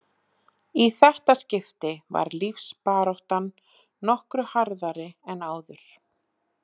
Í þetta skipti var lífsbaráttan nokkru harðari en áður.